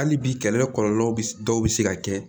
Hali bi kɛlɛ kɔlɔlɔw bi dɔw be se ka kɛ